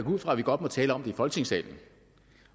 ud fra at vi godt må tale om det i folketingssalen